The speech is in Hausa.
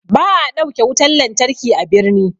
Ba'a ɗauke wutan lantarki a birni.